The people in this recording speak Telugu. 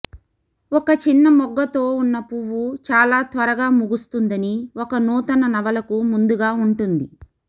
ఒక చిన్న మొగ్గతో ఉన్న పువ్వు చాలా త్వరగా ముగుస్తుందని ఒక నూతన నవలకు ముందుగా ఉంటుంది